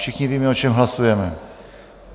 Všichni víme, o čem hlasujeme.